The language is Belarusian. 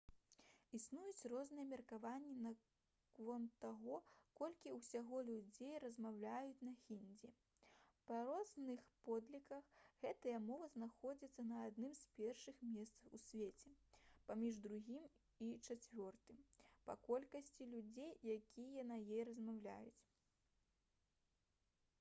існуюць розныя меркаванні наконт таго колькі ўсяго людзей размаўляюць на хіндзі. па розных падліках гэтая мова знаходзіцца на адным з першых месцаў у свеце паміж другім і чацвёртым па колькасці людзей якія на ёй размаўляюць